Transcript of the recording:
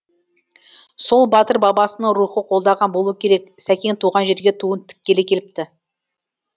сол батыр бабасының рухы қолдаған болу керек сәкең туған жерге туын тіккелі келіпті